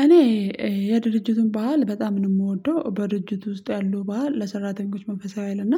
እኔ የድርጅቱን ባህል በጣም ነው እምወደው በድርጅቱ ውስጥ ያለው ባህል ለሰራተኞች መንፈሳዊ ሀይል እና